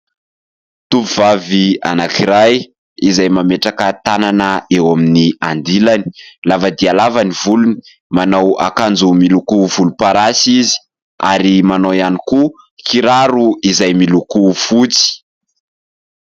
Tovovavy anankiray izay mametraka tanana eo amin'ny andilany lava dia lava ny volony, manao akanjo miloko volomparasy izy ary manao ihany koa kiraro izay miloko fotsy.